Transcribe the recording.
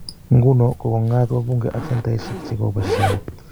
Nguno, kokong'at wabunge ak senataishiek che kobo eshaet.